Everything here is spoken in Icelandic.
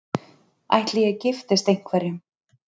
Ætli ég giftist einhverjum?